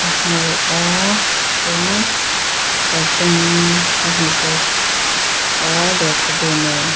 hmu a chuan serthlum ka hmu bawk a lehkhabu nen.